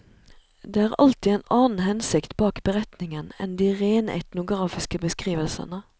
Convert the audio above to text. Det er alltid en annen hensikt bak beretningen enn de rene etnografiske beskrivelsene.